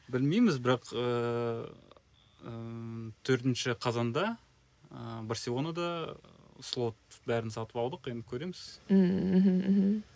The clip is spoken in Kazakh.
білмейміз бірақ ыыы ммм төртінші қазанда ы барселонада ы слот бәрін сатып алдық енді көреміз ммм мхм мхм